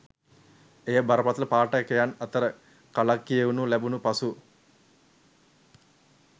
එය බරපතල පාඨකයන් අතර කලක් කියවනු ලැබුණ පසු